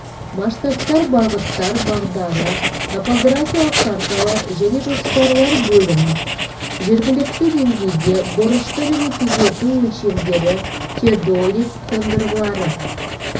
масштабтар бағыттар бағдары топографиялық карталар және жоспарлар бөлім жергілікті деңгейде бұрышты және түзету өлшемдері теодолит қондырғылары